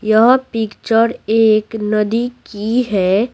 यह पिक्चर एक नदी की है।